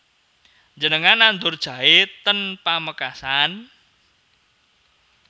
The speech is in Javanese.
Njenengan nandur jahe ten Pamekasan?